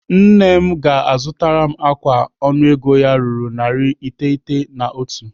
Nne m ga-azụtara m ákwà ọnụego ya ruru naira narị iteghete na otu.